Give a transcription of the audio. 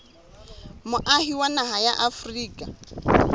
moahi wa naha ya afrika